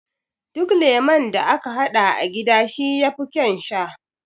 Duk lemo da aka haɗa a gida shi yafi ƙaun sha